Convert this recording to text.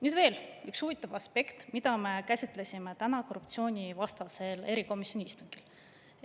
Nüüd veel üks huvitav aspekt, mida me käsitlesime täna korruptsioonivastase erikomisjoni istungil.